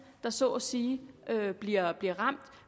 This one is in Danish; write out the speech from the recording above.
der så at sige bliver bliver ramt